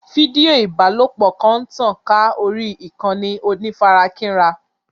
Fídíò ìbálòpọ̀ kan ń tàn ká orí ìkànnì onífarakínra.